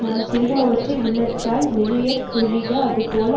தான் சிறுகுமவற்றை உள்ளத்தால் நினையாதொழிக அதுபோல